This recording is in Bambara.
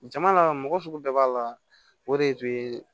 Jama la mɔgɔ sugu bɛɛ b'a la o de tun ye